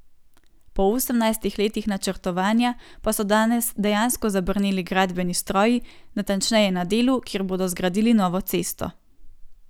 Po osemnajstih letih načrtovanja pa so danes dejansko zabrneli gradbeni stroji, natančneje na delu, kjer bodo zgradili novo cesto.